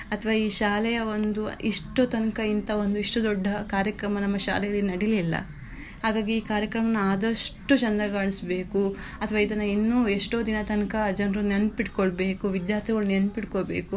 ಅಥ್ವಾ ಈ ಶಾಲೆಯ ಒಂದು ಇಷ್ಟು ತನಕ ಇಂತ ಒಂದು ಇಷ್ಟು ದೊಡ್ಡ ಕಾರ್ಯಕ್ರಮ ನಮ್ಮ ಶಾಲೆಯಲ್ಲಿ ನಡಿಲಿಲ್ಲಾ ಹಾಗಾಗಿ ಈ ಕಾರ್ಯಕ್ರಮವನ್ನು ಅದಷ್ಟು ಚಂದ ಗಾಣಿಸ್ಬೇಕು ಅಥವಾ ಇನ್ನು ಎಷ್ಟೂ ದಿನದ ತನಕ ಆ ಜನರು ನೆನಪಿಟ್ಕೊಳ್ಬೇಕು ವಿದ್ಯಾರ್ಥಿಗಳು ನೆನಪಿಟ್ಕೊಳ್ಬೇಕು.